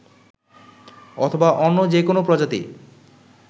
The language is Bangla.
অথবা অন্য যে কোনো প্রজাতি